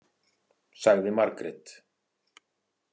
, sagði Margrét.